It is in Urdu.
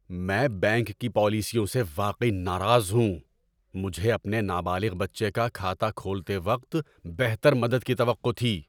‏میں بینک کی پالیسیوں سے واقعی ناراض ہوں۔ مجھے اپنے نابالغ بچے کا کھاتہ کھولتے وقت بہتر مدد کی توقع تھی۔